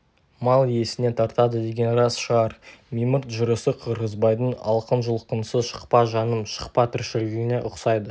мал иесіне тартады деген рас шығар мимырт жүрісі қырғызбайдың алқын-жұлқынсыз шықпа жаным шықпа тіршілігіне ұқсайды